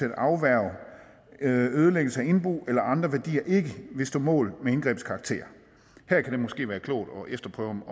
at afværge ødelæggelse af indbo eller andre værdier ikke vil stå mål med indgrebets karakter her kan det måske være klogt at efterprøve